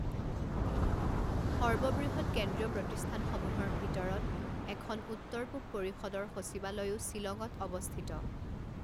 সৰ্ববৃহৎ কেন্দ্ৰীয় প্ৰতিষ্ঠানসমূহৰ ভিতৰত এখন উত্তৰ পূব পৰিষদৰ সচিবালয়ও শ্বিলঙত অৱস্থিত।